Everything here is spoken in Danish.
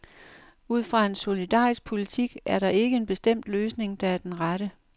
Ud fra en solidarisk politik er der ikke en bestemt løsning, der er den rette.